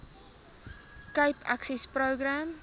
cape access program